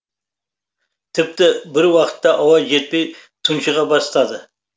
тіпті бір уақта ауа жетпей тұншыға бастады